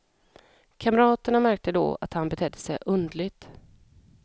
Kamraterna märkte då att han betedde sig underligt.